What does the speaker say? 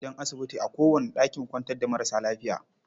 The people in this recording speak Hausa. An sa gadajen asibiti a kowane ɗakin kwantar da marasa lafiya.